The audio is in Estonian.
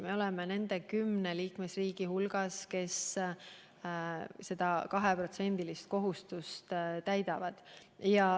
Me oleme nende kümne liikmesriigi hulgas, kes seda 2% kohustust täidavad.